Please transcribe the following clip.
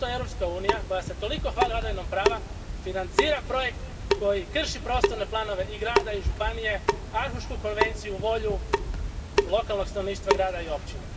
Zašto Europska unija, koja se toliko hvali vladavinom prava, financira projekt koji krši prostorne planove i grada i županije, Aarhuršku konvenciju, volju lokalnog stanovništva grada i općine.